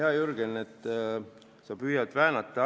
Hea Jürgen, sa püüad asju väänata.